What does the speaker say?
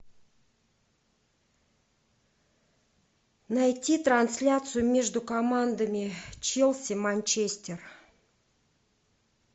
найти трансляцию между командами челси манчестер